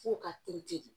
F'o ka teli ten